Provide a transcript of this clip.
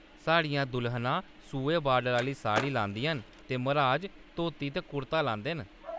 साढ़ियां दुल्हनां सूहे बार्डर आह्‌‌‌ली साड़ी लांदियां न ते मर्‌हाज धोती ते कुर्ता लांदे न।